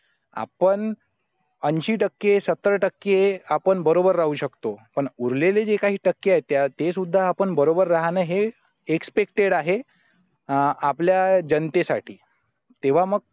आपण ऐंशी टक्के सत्तर टक्के आपण बरोबर राहू शकतो पण उरलेले जे काही टक्के आहे त्या ते सुद्धा आपण बरोबर राहणे हे expected आहे आपल्या जनतेसाठी तेव्हा मग